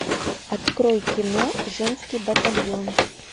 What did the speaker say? открой кино женский батальон